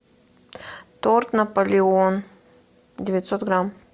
торт наполеон девятьсот грамм